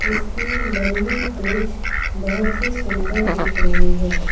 इसके लंबी पूछ बहुत सुंदर दिख रही हैं।